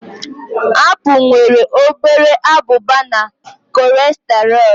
Apple nwere obere abụba na cholesterol